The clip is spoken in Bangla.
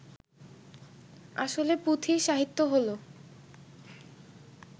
আসলে পুঁথি সাহিত্য হলো